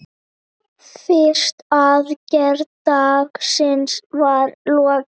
Fyrstu aðgerð dagsins var lokið.